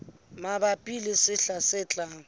mabapi le sehla se tlang